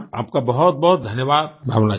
आपका बहुतबहुत धन्यवाद भावना जी